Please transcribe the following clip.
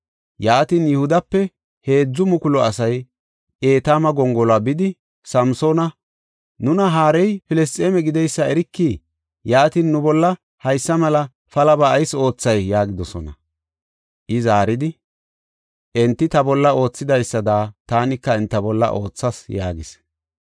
Yaatin, Yihudape heedzu mukulu asay Etaama gongoluwa bidi, Samsoona, “Nuna haarey Filisxeeme gideysa erikii? Yaatin, nu bolla haysa mela palaba ayis oothay?” yaagidosona. I zaaridi, “Enti ta bolla oothidaysada taanika enta bolla oothas” yaagis.